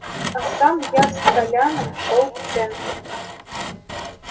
а сам я с толяном шёл в центре